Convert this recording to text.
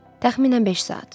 Təxminən beş saat.